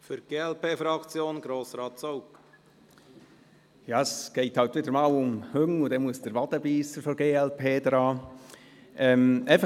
Ja, es geht halt wieder mal um Hunde, und dann kommt der Wadenbeisser der glp zum Zug.